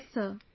Yes sir